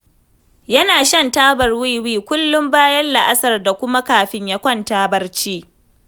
Yana shan tabar wiwi kullum bayan la'asar da kuma kafin ya kwanta barci.